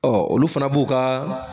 Ɔ olu fana b'u kaa